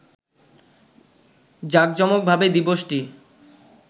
জাকজমকভাবে দিবসটি